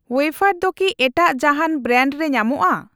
Wafer ᱫᱚ ᱠᱤ ᱮᱴᱟᱜ ᱡᱟᱦᱟᱸᱱ ᱵᱨᱮᱱᱰ ᱨᱮ ᱧᱟᱢᱚᱜᱼᱟ?